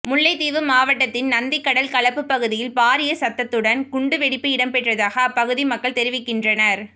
முல்லைத்தீவு மாவடடத்தின் நந்திக்கடல் களப்பு பகுதியில் பாரிய சத்தத்துடன் குண்டு வெடிப்பு இடம்பெற்றதாக அப்பகுதி மக்கள் தெரிவிக்கின்றனர்